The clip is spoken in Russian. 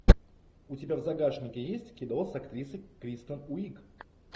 у тебя в загашнике есть кино с актрисой кристен уиг